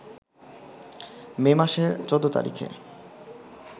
মে মাসের ১৪ তারিখে